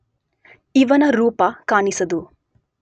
ಇವನ ರೂಪ ಕಾಣಿಸದು.